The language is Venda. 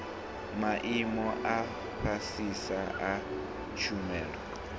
maimo a fhasisa a tshumelo